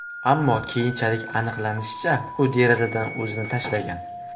Ammo keyinchalik aniqlanishicha, u derazadan o‘zini tashlagan.